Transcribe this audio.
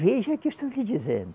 Veja o que eu estou te dizendo.